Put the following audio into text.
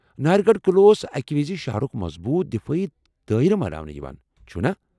ناہر گڑھ اوس اکہ وِزِ شہرُك مضبوٗط دفٲیی دٲیرٕ باناوان، چُھنا؟